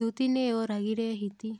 Thuti nĩyoragire hiti.